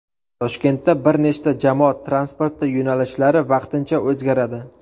Toshkentda bir nechta jamoat transporti yo‘nalishlari vaqtincha o‘zgaradi.